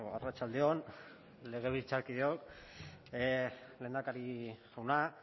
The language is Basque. arratsalde on legebiltzarkideok lehendakari jauna